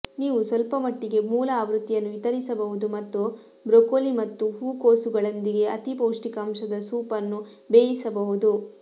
ನೀವು ಸ್ವಲ್ಪಮಟ್ಟಿಗೆ ಮೂಲ ಆವೃತ್ತಿಯನ್ನು ವಿತರಿಸಬಹುದು ಮತ್ತು ಬ್ರೊಕೊಲಿ ಮತ್ತು ಹೂಕೋಸುಗಳೊಂದಿಗೆ ಅತಿ ಪೌಷ್ಟಿಕಾಂಶದ ಸೂಪ್ ಅನ್ನು ಬೇಯಿಸಬಹುದು